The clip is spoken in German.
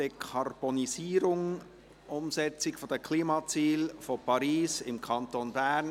Dekarbonisierung – Umsetzung der Klimaziele von Paris im Kanton Bern».